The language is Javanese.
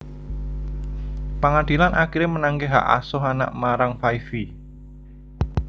Pangadilan akiré menangaké hak asuh anak marang Five Vi